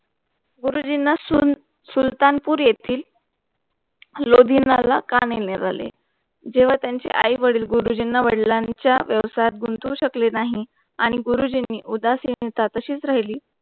गुरुजी ना सून सुलतानपूर येथील लोढिण्यला कानिरल आले जेव्हा त्यांची आई वडील गुरुजींना वडिल्यांचा व्यवसायात गुंतवू शकले नाही आणि गुरुजींना उदासीनीता तशीच राहिली.